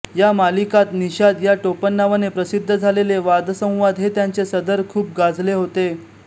या मासिकात निषाद या टोपणनावाने प्रसिद्ध झालेले वादसंवाद हे त्यांचे सदर खूप गाजले होते